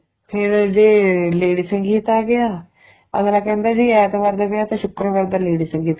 ਫੇਰ ਜੇ lady ਸੰਗੀਤ ਆ ਗਿਆ ਅੱਗਲਾ ਕਹਿੰਦਾ ਵੀ ਐਤਵਾਰ ਦਾ ਵਿਆਹ ਤੇ ਸ਼ੁਕਰਵਾਰ ਦਾ lady ਸੰਗੀਤ